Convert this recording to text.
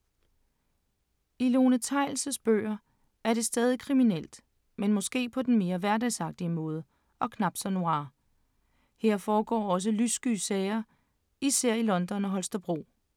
I Lone Theils’ bøger er det stadig kriminelt, men måske på den mere hverdagsagtige måde og knap så noir. Her foregår også lyssky sager, især i London og Holstebro.